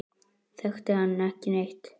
Þekkti hann ekki neitt.